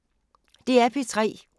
DR P3